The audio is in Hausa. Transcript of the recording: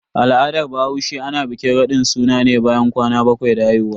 A al'adar bahaushe, ana bikin radin suna ne bayan kwana bakwai da haihuwa.